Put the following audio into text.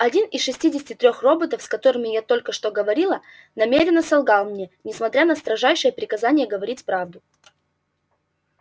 один из шестидесяти трёх роботов с которыми я только что говорила намеренно солгал мне несмотря на строжайшее приказание говорить правду